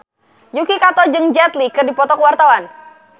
Yuki Kato jeung Jet Li keur dipoto ku wartawan